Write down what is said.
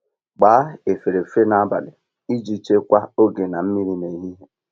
Gbaa efere efere nabalị iji chekwaa oge na mmiri nehihie.